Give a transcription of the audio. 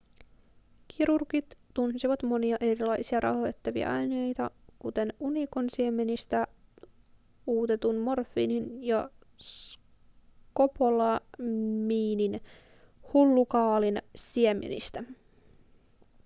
kirurgit tunsivat monia erilaisia rauhoittavia aineita kuten unikon siemenistä uutetun morfiinin ja skopolamiinin hullukaalin siemenistä